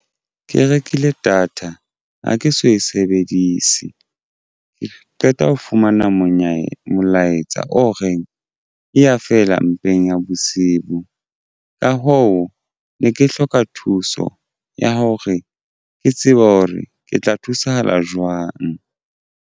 Ke rekile data ha ke so e sebedise ke qeta ho fumana molaetsa o reng e ya fela mpeng ya bosibu. Ka hoo ne ke hloka thuso ya hore ke tsebe hore ke tla thusahala jwang.